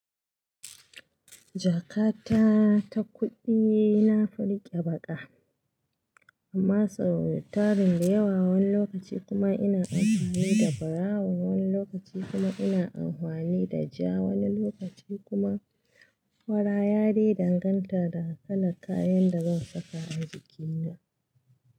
Jakata ta kuɗi na fi riƙe baƙa amma sau ritarin da yawa wani lokaci kuma ina amfani da brown, wani lokaci kuma ina amfani da ja, wani lokaci kuma fara yadai danganta da kalan kayan da zan saka a jikina.